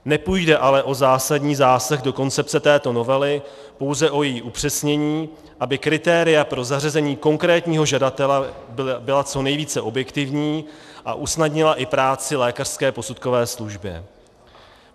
Nepůjde ale o zásadní zásah do koncepce této novely, pouze o její upřesnění, aby kritéria pro zařazení konkrétního žadatele byla co nejvíce objektivní a usnadnila i práci lékařské posudkové službě.